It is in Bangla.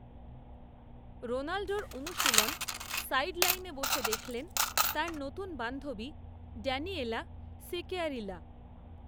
রোনাল্ডোর অনুশীলন, সাইডলাইনে বসে দেখলেন, তাঁর নতুন বান্ধবী, ড্যানিয়েলা সিকেয়ারিলা